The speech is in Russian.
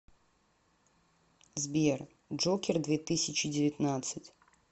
сбер джокер две тысячи девятнадцать